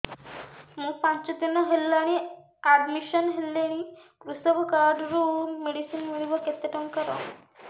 ମୁ ପାଞ୍ଚ ଦିନ ହେଲାଣି ଆଡ୍ମିଶନ ହେଲିଣି କୃଷକ କାର୍ଡ ରୁ ମେଡିସିନ ମିଳିବ କେତେ ଟଙ୍କାର